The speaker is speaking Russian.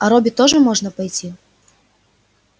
а робби тоже можно пойти